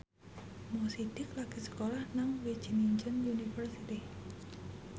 Mo Sidik lagi sekolah nang Wageningen University